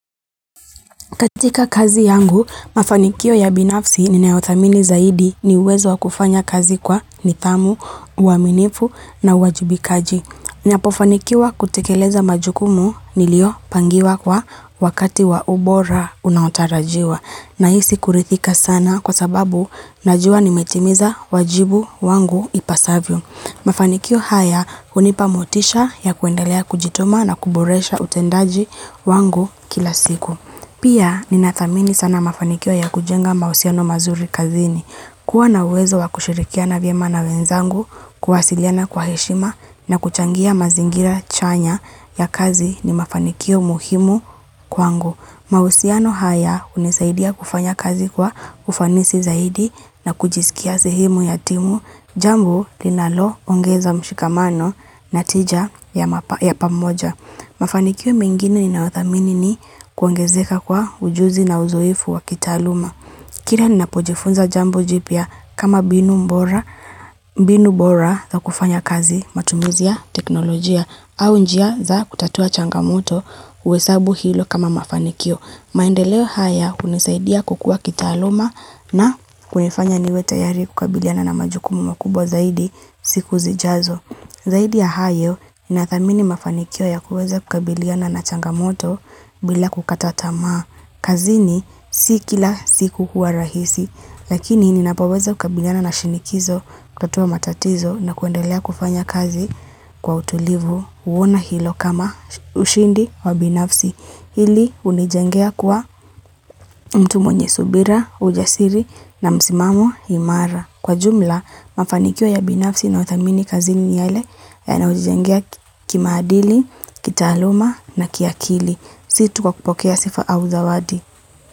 Katika kazi yangu, mafanikio ya binafsi ni neothamini zaidi ni uwezo wakufanya kazi kwa nithamu, uaminifu na wajubikaji. Ni apofanikio kutikeleza majukumu nilio pangiwa kwa wakati wa ubora unautarajiwa na hisi kurithika sana kwa sababu najua nimetimiza wajibu wangu ipasavyo. Mafanikio haya unipamotisha ya kuendelea kujituma na kuboresha utendaji wangu kila siku. Pia ni na dhamini sana mafanikio ya kujenga mausiano mazuri kazini. Kwa na uwezo wa kushirikia na vya mana wenzangu, kuwasiliana kwa heshima na kuchangia mazingira chanya ya kazi ni mafanikio muhimu kwangu. Mausiano haya unisaidia kufanya kazi kwa ufanisi zaidi na kujisikia sihemu ya timu. Jambo linalo ongeza mshikamano na tija ya pamoja. Mafanikio mengine ni na wathamini ni kuangezeka kwa ujuzi na uzoifu wa kitaluma. Kila ninapojifunza jambo jipya kama binu mbora za kufanya kazi matumizia teknolojia au njia za kutatua changamoto husabu hilo kama mafanikio. Maendeleo haya unisaidia kukua kitaaluma na kunifanya niwe tayari kukabiliana na majukumu makubwa zaidi siku zijazo. Zaidi ya hayo, inathamini mafanikio ya kuweza kukabiliana na changamoto bila kukatatama. Kazini si kila siku hua rahisi, lakini ninapoweza kukabiliana na shinikizo, kutotua matatizo na kuendelea kufanya kazi kwa utulivu uona hilo kama ushindi wa binafsi. Hili unijengea kwa mtu mwenye subira, ujasiri na msimamo Himara. Kwa jumla, mafanikio ya binafsi na utamini kazini yele ya na ujijengea kimaadili, kitaloma na kiakili. Situ kwa kupokea sifa au zawadi.